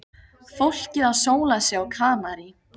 Fólkið að sóla sig á Kanarí.